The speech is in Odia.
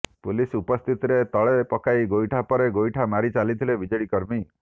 ପୁଲିସ୍ ଉପସ୍ଥିତିରେ ତଳେ ପକାଇ ଗୋଇଠା ପରେ ଗୋଇଠା ମାରି ଚାଲିଥିଲେ ବିଜେଡି କର୍ମୀ